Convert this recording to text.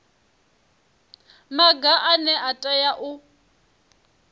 maga ane a tea u